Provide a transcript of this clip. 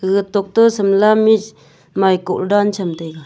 gaga tok toh shimla mirch maiko dan chem taiga.